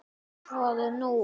Hvað er nú?